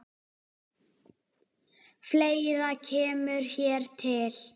Fleira kemur hér til.